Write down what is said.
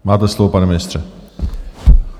Máte slovo, pane ministře.